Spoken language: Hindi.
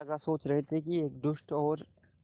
राजा सोच रहे थे कि एक दुष्ट और